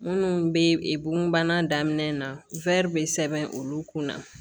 Minnu bɛ bugun bana daminɛ na bɛ sɛbɛn olu kunna